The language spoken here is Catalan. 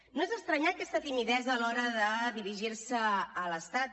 no és d’estranyar aquesta timidesa a l’hora de dirigir se a l’estat